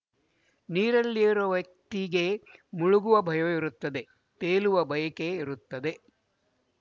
ನೀರಲ್ಲಿ ಇರುವ ವ್ಯಕ್ತಿಗೆ ಮುಳುಗುವ ಭಯವಿರುತ್ತದೆ ತೇಲುವ ಬಯಕೆ ಇರುತ್ತದೆ